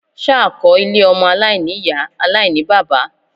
Ṣá kọ́ ilé ọmọ aláìní-Ìyá aláìní-bàbá.?